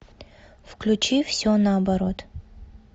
включи все наоборот